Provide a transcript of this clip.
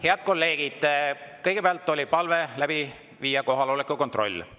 Head kolleegid, kõigepealt oli palve läbi viia kohaloleku kontroll.